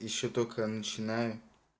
ещё только начинаю